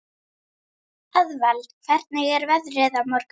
Eðvald, hvernig er veðrið á morgun?